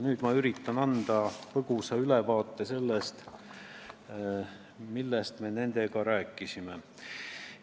Nüüd ma üritangi anda põgusa ülevaate sellest, millest me nendega rääkisime.